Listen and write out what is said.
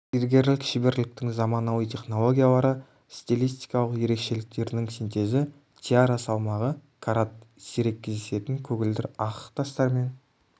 зергерлік шеберліктің заманауи технологиялары стилистикалық ерекшеліктерінің синтезі тиара салмағы карат сирек кездесетін көгілдір ақық тастармен